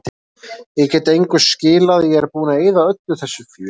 Ég get engu skilað, ég er búinn að eyða öllu þessu fé.